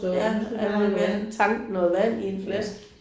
Ja er hun lige ved at tanke noget vand i en flaske